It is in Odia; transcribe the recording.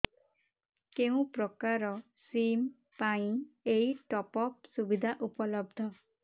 କେଉଁ ପ୍ରକାର ସିମ୍ ପାଇଁ ଏଇ ଟପ୍ଅପ୍ ସୁବିଧା ଉପଲବ୍ଧ